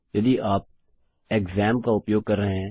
यदि आप क्सैम्प का उपयोग कर रहे हैं